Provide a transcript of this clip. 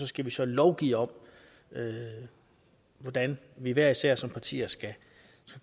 skal lovgive om hvordan vi hver især som partier skal